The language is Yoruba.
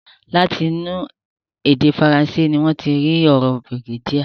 Láti inú èdè Fransé ni wọ́n ti rí ọ̀rọ̀ brigadier.